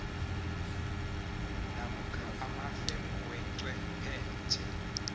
namkha amafemu wechwephetjhe